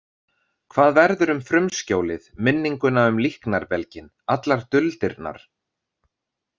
Hvað verður um frumskjólið, minninguna um líknarbelginn, allar duldirnar?